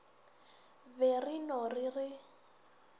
be re no re re